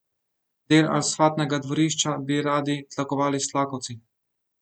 Del asfaltnega dvorišča bi radi tlakovali s tlakovci.